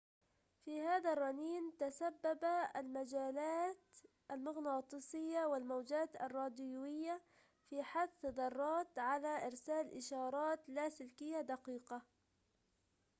في هذا الرنين تتسبب المجالات المغناطيسيّة والموجات الراديويّة في حث الذرّات على إرسال إشارات لاسلكية دقيقة